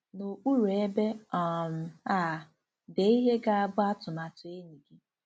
N'okpuru ebe um a, dee ihe ga-abụ 'atụmatụ enyi gị.